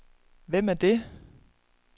Hvem er det